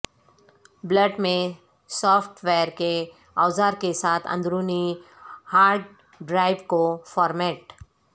Bullet in software کے اوزار کے ساتھ اندرونی ہارڈ ڈرائیو کو فارمیٹ